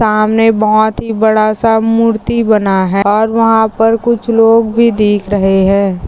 सामने बहुत ही बड़ासा मूर्ति बना है और वहा पर कुछ लोग भी दिख रहे है।